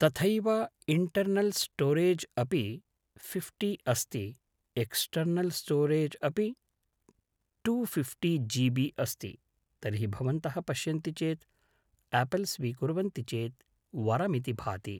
तथैव internal storage अपि फिफ्टिअस्ति एक्स्टेर्नल् स्टोरेज् अपि टुफिफ्टि जिबि अस्ति तर्हि भवन्तः पश्यन्ति चेत् आपल् स्वीकुर्वन्ति चेत् वरमिति भाति